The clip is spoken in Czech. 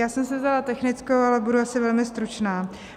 Já jsem si vzala technickou, ale budu asi velmi stručná.